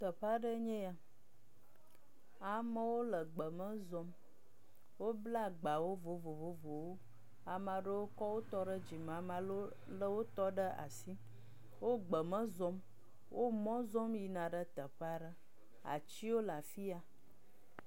Teƒe aɖee nye ya. Amewo le gbe me zɔm. Wobla agbawo vovo vovowo. Ame aɖewo kɔ wotɔ ɖe dzime, ame aɖewo lé wotɔ ɖe asi. Wo gbe me zɔm. Wo mɔ zɔm yina ɖe teƒea ɖe. Atiwo le afi ya.